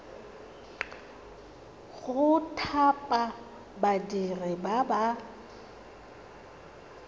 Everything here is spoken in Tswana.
go thapa badiri ba ba